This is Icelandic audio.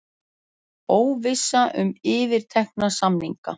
Óvissa um yfirtekna samninga